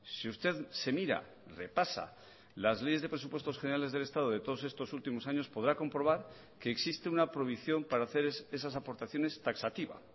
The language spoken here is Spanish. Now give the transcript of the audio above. si usted se mira repasa las leyes de presupuestos generales del estado de todos estos últimos años podrá comprobar que existe una prohibición para hacer esas aportaciones taxativa